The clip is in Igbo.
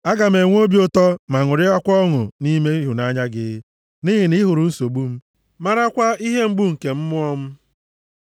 Aga m enwe obi ụtọ ma ṅụrịkwaa ọṅụ nʼime ịhụnanya gị, nʼihi na ị hụrụ nsogbu m marakwa ihe mgbu nke mmụọ m.